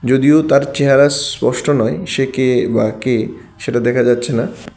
যদিও তার চেহারা স্পষ্ট নয় সে কে বা কে সেটা দেখা যাচ্ছে না।